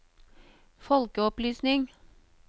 folkeopplysning